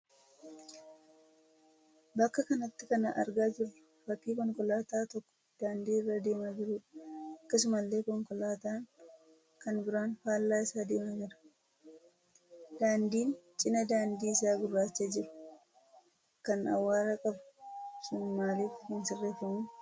Bakka kanatti kan argaa jirru fakkii konkolaataan tokko daandii irra deemaa jiruudha. Akkasumallee konkolaataan kan biraan faallaa isaa deemaa jira. Daandiin cina daandii isa gurraacha jiru, kan awwaara qabu sun maaf hin sirreeffamu?